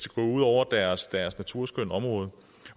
gå ud over deres deres naturskønne område